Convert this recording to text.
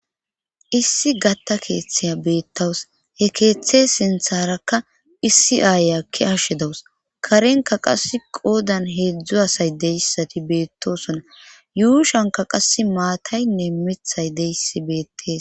issi gatta keeththiya beettawus he keeththe sintharakka issi aayakki hashshe dawus karenka qass qoodan heedzdzu asay deyssati beettosona yuushanka qass maataynne mithay deyssi beettees